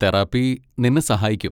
Therapy നിന്നെ സഹായിക്കും.